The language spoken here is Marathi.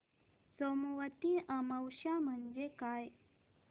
सोमवती अमावस्या म्हणजे काय